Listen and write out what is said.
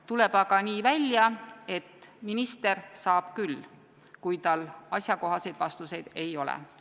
Tuleb aga nii välja, et minister saab küll, kui tal asjakohaseid vastuseid ei ole.